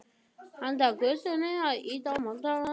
Handan götunnar er ýtan að moka mold upp á vörubíl.